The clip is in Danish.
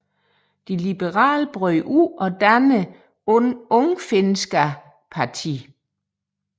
De liberale brød ud og dannede Ungfinska partiet